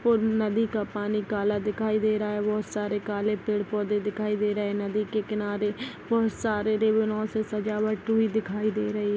और नदी का पानी काला दिखाई दे रहा है बहुत सारे काले पेड़ पौधे दिखाई दे रहे है नदी के किनारे बहुत सारे देवनो से सजावट हुई दिखाई दे रही --